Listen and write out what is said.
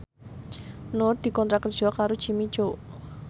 Nur dikontrak kerja karo Jimmy Coo